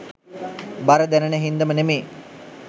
බර දැනෙන හින්දම නෙමේ.